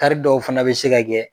Kari dɔw fana bɛ se ka kɛ